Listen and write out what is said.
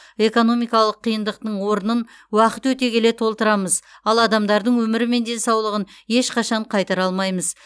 экономикалық қиындықтың орнын уақыт өте келе толтырамыз ал адамдардың өмірі мен денсаулығын ешқашан қайтара алмаймыз